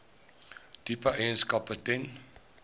tipe eienaarskap ten